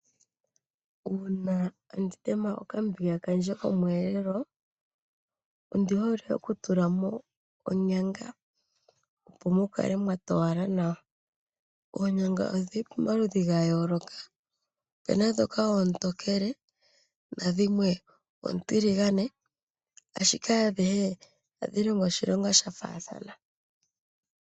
Uuna tandi tema okambiga kandje komweelelo ondi hole okutula mo onyanga, opo mu kale mwa towala nawa. Oonyanga odhi li pamaludhi ga yooloka. Opu na ndhoka oontookele nadhimwe oontiligane, ashike adhihe ohadhi longo oshilonga sha faathana.